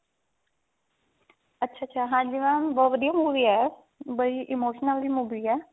ਅੱਛਾ ਅੱਛਾ ਹਾਂਜੀ mam ਬਹੁਤ ਵਧੀਆ movie ਹੈ ਉਹ ਬੜੀ emotional ਜੀ movie ਹੈ